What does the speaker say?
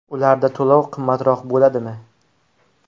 Ularda to‘lov qimmatroq bo‘ladimi?